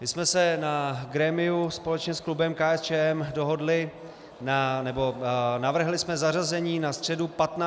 My jsme se na grémiu společně s klubem KSČ dohodli, nebo navrhli jsme zařazení na středu 15. března.